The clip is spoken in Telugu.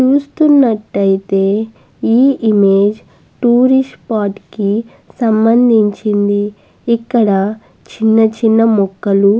చూస్తున్నటైతే ఈ ఇమేజ్ టూరిస్ట్ స్పాట్ కి సంబంధించింది ఇక్కడ చిన్న చిన్న మొక్కలూ --